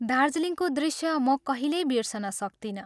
दार्जीलिङको दृश्य म कहिल्यै बिर्सन सक्तिनँ।